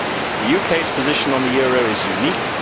The UK's position on the euro is unique